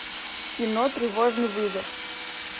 кино тревожный вызов